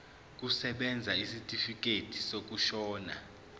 kusebenza isitifikedi sokushona